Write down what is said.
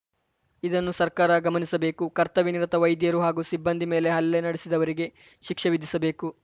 ಇದನ್ನು ಸರ್ಕಾರ ಗಮನಿಸಬೇಕು ಕರ್ತವ್ಯ ನಿರತ ವೈದ್ಯರು ಹಾಗೂ ಸಿಬ್ಬಂದಿ ಮೇಲೆ ಹಲ್ಲೆ ನಡೆಸಿದವರಿಗೆ ಶಿಕ್ಷೆ ವಿಧಿಸಬೇಕು